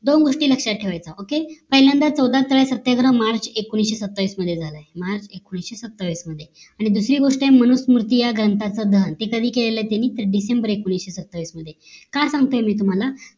दोन गोष्टी लक्ष्यात ठेवायचा OKAY पहिल्यांदा चौदा स्थळ सत्याग्रह मार्च एकोणीशे सत्तावीस मध्ये झाली मार्च एकोणीशे सत्तावीस मध्ये आणि दुसरी गोष्ट मनुस मूर्ती या ग्रंथच दहन हे कधी केली त्यांनी तर डिसेंबर एकोणीशे सत्तावीस मध्ये का सांगते मी तुम्हाला